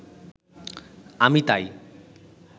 আমি তাই